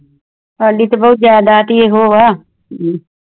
ਸਾਡੀ ਤਾਂ ਬੋਹਤ ਜਾਇਦਾਦ ਬੋਹਤ ਆ